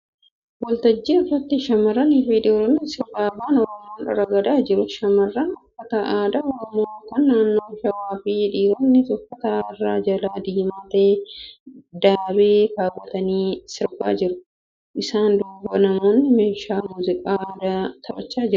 Waltajjii irratti shamarranii fi dhiironni sirba Afaan Oromoon ragadaa jiru. Shamarran uffata aadaa Oromoo kan naannoo shawaa fi dhiironnis uffata irraa jala diimaa ta'ee daabee keewwatanii sirbaa jiru. Isaan duuba namoonni meeshaa muuziqaa aadaa taphachaa jiru.